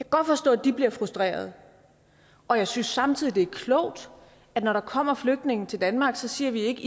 godt forstå at de bliver frustreret og jeg synes samtidig det er klogt at når der kommer flygtninge til danmark siger vi ikke